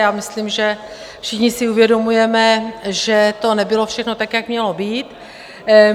Já myslím, že všichni si uvědomujeme, že to nebylo všechno tak, jak mělo být.